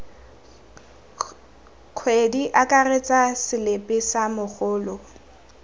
kgwedi akaretsa selipi sa mogolo